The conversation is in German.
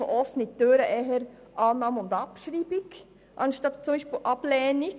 In diesem Sinn also eher Annahme und Abschreibung statt Ablehnung.